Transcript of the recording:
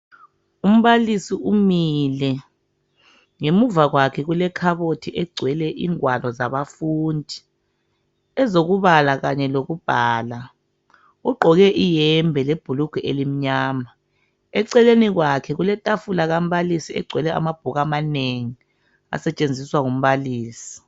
Umbalisi umile ngemuva kwakhe kulekhabothi egcwele ingwalo zabafundi ezokubala kanye lokubhala ugqoke iyembe lebhlugwa elimnyama eceleni kwakhe kuletafula kambalisi egcwele amabhuku amanengi asetshenziswa ngumbalisi